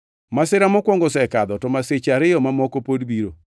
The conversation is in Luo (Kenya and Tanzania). Masira mokwongo osekadho, to masiche ariyo mamoko pod biro.